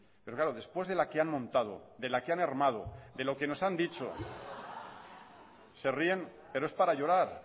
pero claro después de la que han montado de la que han armado de lo que nos han dicho se ríen pero es para llorar